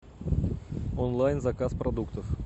онлайн заказ продуктов